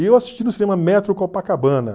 E eu assisti no cinema Metro Copacabana.